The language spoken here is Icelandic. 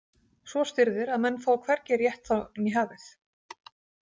Svo stirðir að menn fá hvergi rétt þá né hafið.